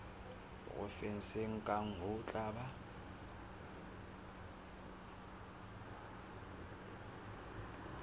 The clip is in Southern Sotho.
provenseng kang ho tla ba